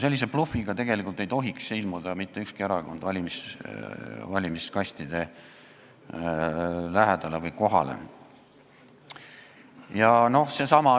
Sellise blufiga ei tohiks mitte ükski erakond valimiskastide lähedale ilmuda.